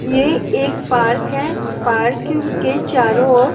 ये एक पार्क है पार्क क्ब के चारों ओर--